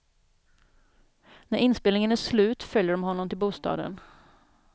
När inspelningen är slut följer de honom till bostaden.